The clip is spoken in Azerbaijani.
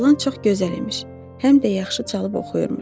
Oğlan çox gözəl imiş, həm də yaxşı çalıb oxuyurmuş.